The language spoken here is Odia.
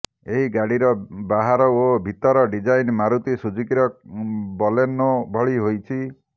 ଏହି ଗାଡ଼ିର ବାହାର ଓ ଭିତର ଡ଼ିଜାଇନ ମାରୁ୍ତି ସୁଜୁକିର ବଲେନୋ ଭଳି ହୋଇଛି